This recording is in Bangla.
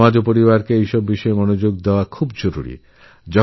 সমাজ ও পরিবার উভয়েরই এতে নজর দেওয়া প্রয়োজন